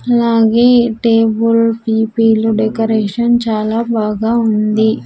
అలాగే ఈ టేబుల్ పి_పీ లో డెకరేషన్ చాలా బాగా ఉంది.